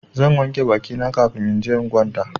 Zan wanke baki na kafin in je in kwanta.